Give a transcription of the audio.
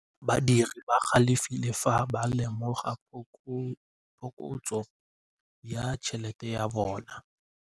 Badiri ba galefile fa ba lemoga phokotsô ya tšhelête ya bone.